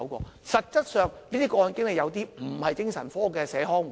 然而，實質上，這些個案經理有些不是精神科的社康護士。